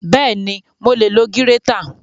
Bẹ́ẹ̀ni, mo lè lo gírétà